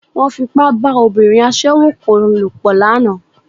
Wọ́n Fipá bá obìnrin aṣẹ́wó kan lòpọ̀ lánàá